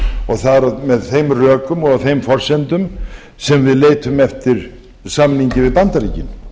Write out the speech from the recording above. og það er með þeim rökum og á þeim forsendum sem við leitum eftir samningi við bandaríkin